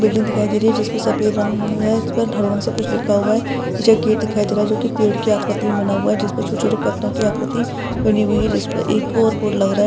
Building दिखाई दे रही है जिसमे सफ़ेद रंग है उस पे हरे रंग का कुछ लिखा है नीचे गेट दिखायी दे रहा है जो की पेड़ की आकृती मे बना हुआ है जिस पे छोटे छोटे पत्तों की आकृती बनी हुयी है एक लग रहा है।